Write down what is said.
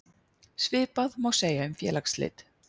Svipað má segja um félagsslit.